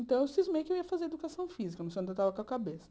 Então, eu cismei que eu ia fazer educação física, não sei estava com a cabeça.